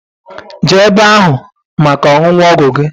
Jee ebe ahu maka ọṅụṅụ ọgwụ gi.